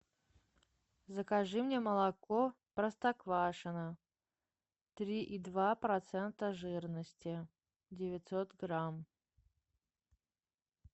закажи мне молоко простоквашино три и два процента жирности девятьсот грамм